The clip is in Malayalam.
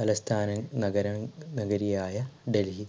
തലസ്ഥാന നഗരം നഗരിയായ ഡൽഹി.